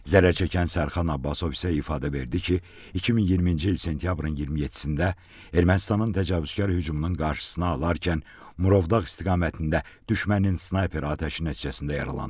Zərərçəkən Sərxan Abbasov isə ifadə verdi ki, 2020-ci il sentyabrın 27-də Ermənistanın təcavüzkar hücumunun qarşısını alarkən Murovdağ istiqamətində düşmənin snayper atəşi nəticəsində yaralanıb.